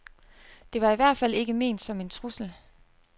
Det var i hvert fald ikke ment som en trussel.